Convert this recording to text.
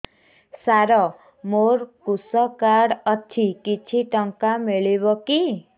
ସାର ମୋର୍ କୃଷକ କାର୍ଡ ଅଛି କିଛି ଟଙ୍କା ମିଳିବ କି